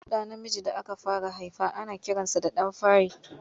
Babban ɗa namiji da aka fara haifa ana kiransa da ɗan fari.